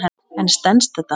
En stenst þetta?